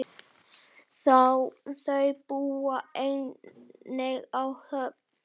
Þau búa einnig á Höfn.